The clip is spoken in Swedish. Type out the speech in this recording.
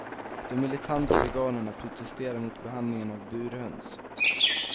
De militanta veganerna protesterar mot behandlingen av burhöns.